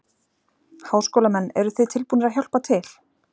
Háskólamenn, eruð þið tilbúnir að hjálpa til?